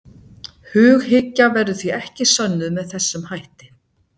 Hughyggja verður því ekki sönnuð með þessum hætti.